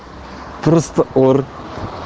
просто ор